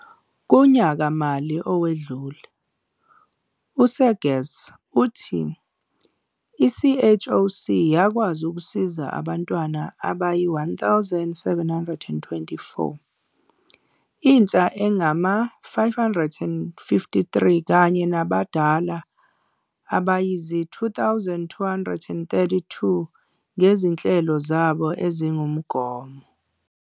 Kunyaka-mali owedlule, u-Seegers uthi i-CHOC yakwazi ukusiza abantwana abayi-1 724, intsha engama-553 kanye nabadala abayizi-2 232 ngezinhlelo zabo ezingumongo.